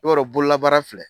I b'a dɔn bololabaara filɛ,